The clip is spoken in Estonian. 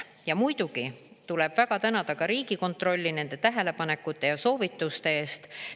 Ja muidugi tuleb väga tänada ka Riigikontrolli nende tähelepanekute ja soovituste eest.